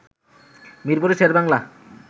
মিরপুরের শেরেবাংলা